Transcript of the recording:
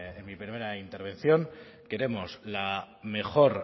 en mi primera intervención queremos la mejor